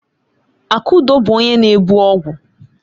Akudo bu onye na-ebu ọgwụ.